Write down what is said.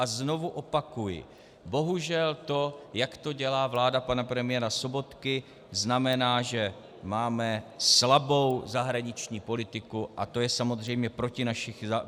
A znovu opakuji, bohužel to, jak to dělá vláda pana premiéra Sobotky, znamená, že máme slabou zahraniční politiku, a to je samozřejmě proti našim zájmům.